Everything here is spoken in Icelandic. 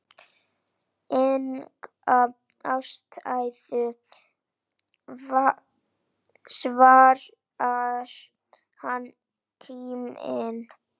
Enga ástæðu svarar hann kíminn.